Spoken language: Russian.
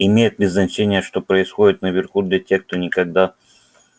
имеет ли значение что происходит наверху для тех кто никогда